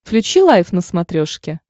включи лайф на смотрешке